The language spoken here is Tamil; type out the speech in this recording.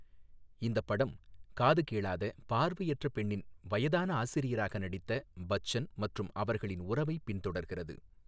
இந்தப் படம் காது கேளாத, பார்வையற்ற பெண்ணின் வயதான ஆசிரியராக நடித்த பச்சன் மற்றும் அவர்களின் உறவைப் பின்தொடர்கிறது.